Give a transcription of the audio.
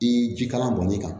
I jikalan bɔnni kan